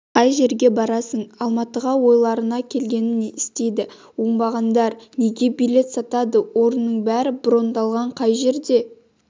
қай жерге барасың алматыға ойларына келгенін істейді оңбағандар неге билет сатады орынның бәрі брондалған қай жерден